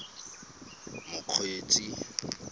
mokgweetsi